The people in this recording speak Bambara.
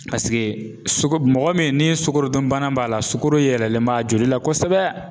suko mɔgɔ min ni sukorodunbana b'a la sukoro yɛlɛlen b'a joli la kosɛbɛ